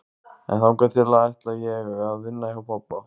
En þangað til ætla ég að vinna hjá pabba.